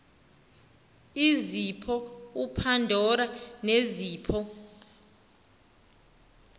izipho upandora nezipho